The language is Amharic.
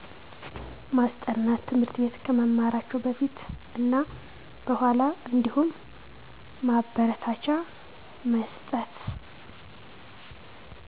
ማስጠናት ትምህርት ቤት ከመማራቸው በፊት እና በኋላ አንዲሁም ማበረታቻ መስጠት